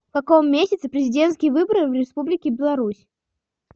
в каком месяце президентские выборы в республике беларусь